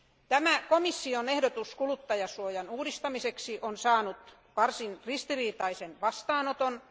Tämä komission ehdotus kuluttajansuojan uudistamiseksi on saanut varsin ristiriitaisen vastaanoton.